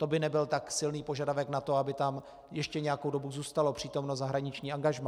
To by nebyl tak silný požadavek na to, aby tam ještě nějakou dobu zůstalo přítomno zahraniční angažmá.